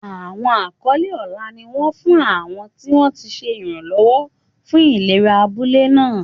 Àwọn àkọlé ọlá ni wọ́n fún àwọn tí wọ́n ti ṣe ìrànlọ́wọ́ fún ìlera abúlé náà.